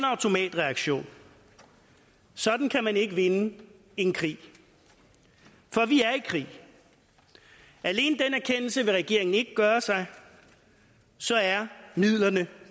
automatreaktion sådan kan man ikke vinde en krig for vi alene den erkendelse vil regeringen ikke gøre sig så er midlerne